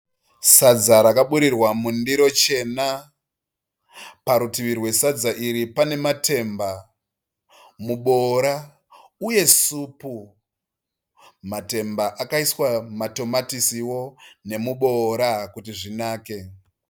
Sadza rakaburirwa mundiro chena. Parutivi rwesadza iri pane matemba, muboora uye supu. Matemba akaiswa matomatisiwo nemuboora kuti zvinake.